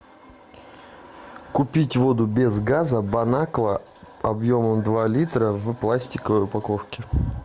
купить воду без газа бон аква объемом два литра в пластиковой упаковке